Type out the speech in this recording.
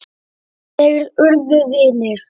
Þeir urðu vinir.